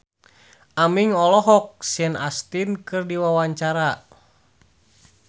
Aming olohok ningali Sean Astin keur diwawancara